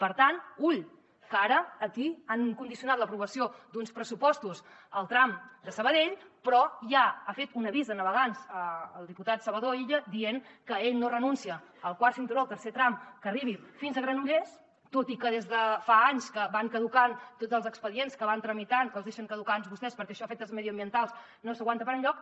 per tant ull que ara aquí han condicionat l’aprovació d’uns pressupostos al tram de sabadell però ja ha fet un avís a navegants el diputat salvador illa dient que ell no renuncia al quart cinturó al tercer tram que arribi fins a granollers tot i que des de fa anys que van caducant tots els expedients que van tramitant que els deixen caducar anys vostès perquè això a efectes mediambientals no s’aguanta per enlloc